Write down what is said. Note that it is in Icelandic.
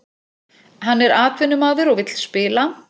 Hann er atvinnumaður og vill spila